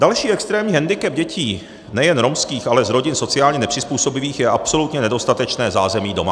Další extrémní hendikep dětí nejen romských, ale z rodin sociálně nepřizpůsobivých je absolutně nedostatečné zázemí doma.